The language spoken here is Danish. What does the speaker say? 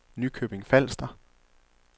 Nykøbing Falster